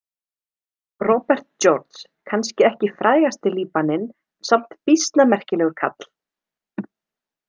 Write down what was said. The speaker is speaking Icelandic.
Robert George: Kannski ekki frægasti Líbaninn, en samt býsna merkilegur kall.